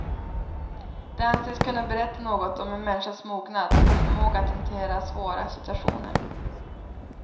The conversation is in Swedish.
Det anses kunna berätta något om en människas mognad och förmåga att hantera svåra situationer.